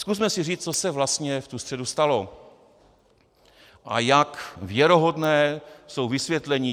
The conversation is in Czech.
Zkusme si říci, co se vlastně v tu středu stalo a jak věrohodná jsou vysvětlení.